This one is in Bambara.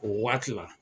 O waati la